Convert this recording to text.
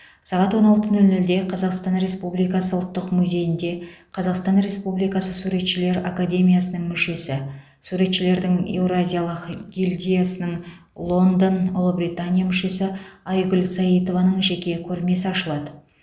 сағат он алты нөл нөлде қазақстан республикасы ұлттық музейінде қазақстан республикасы суретшілер академиясының мүшесі суретшілердің еуразиялық гильдиясының лондон ұлыбритания мүшесі айгүл саитованың жеке көрмесі ашылады